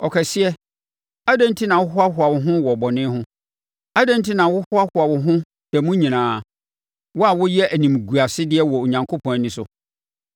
Ɔkɛseɛ, adɛn enti na wohoahoa wo ho wɔ wo bɔne ho? Adɛn enti na wohoahoa wo ho da mu nyinaa, wo a woyɛ animguasedeɛ wɔ Onyankopɔn ani so?